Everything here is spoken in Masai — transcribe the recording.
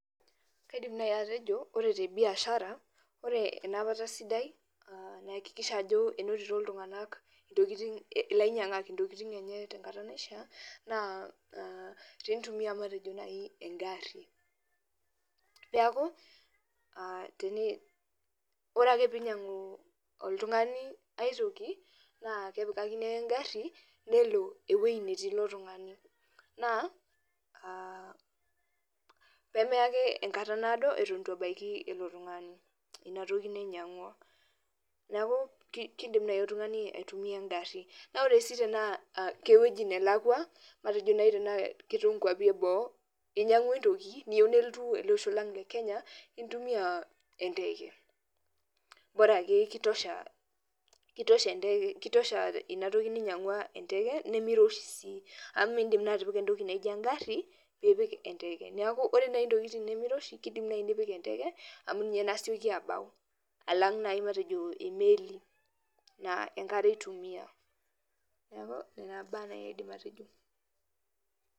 Kaidim nai atejo, ore tebiashara ore enapata sidai naakikisha ajo enotito iltung'anak intokiting ilainyang'ak intokiting enye tenkata naishaa, naa enitumia matejo nai egarri. Neeku, ore ake pinyang'u oltung'ani aitoki, naa kepikakini ake egarri, nelo ewoi netii ilo tung'ani. Naa, pemeya ake enkata naado eton itu ebaiki ilo tung'ani inatoki nainyang'u. Neeku kidim nai oltung'ani aitumia egarri. Na ore si tenaa kewueji nelakwa, matejo nai tenaa ketum nkwapi eboo, inyang'ua entoki niyieu nelotu elosho lang le Kenya, intumia enteke. Bora ake ki tosha inatoki ninyang'ua enteke, nimiroshi si. Amu midim naa atipika entoki naijo egarri, pipik enteke. Neeku ore ntokiting nimiroshi kidim nai nipik enteke, amu ninye nasioki abau alang nai matejo emeli na enkare itumia. Neeku nena baa nai aidim atejo.